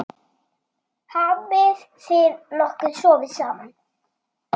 Hafið þið nokkuð sofið saman?